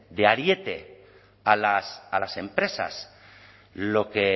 de ariete a las empresas lo que